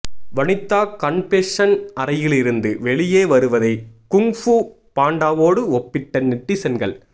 Vanitha confession அறையிலிருந்து வெளியே வருவதை குங்ஃபூ பாண்டாவோடு ஒப்பிட்ட நெட்டிசன்கள்